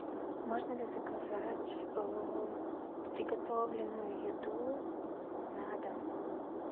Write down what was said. можно ли заказать приготовленную еду на дом